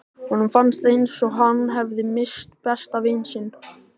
Honum fannst eins og hann hefði misst besta vin sinn.